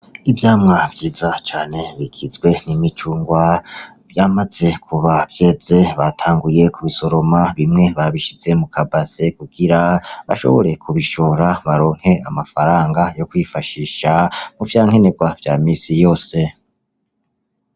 Ivyamwa vyiza cane bigizwe n'imicungwa vyamaze kuba vyeze batanguye kubisoroma bimwe babishize mu kabase kugira bashobore kubishora baronke amafaranga yo kwifashisha muvyankenegwa vya minsi yose .